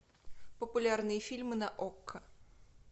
популярные фильмы на окко